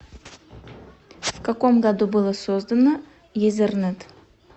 в каком году было создано езернет